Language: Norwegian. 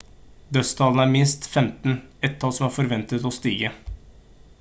dødstallene er minst 15 et tall som er forventet å stige